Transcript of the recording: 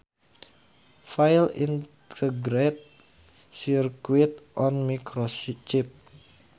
File Integrated circuit on microchip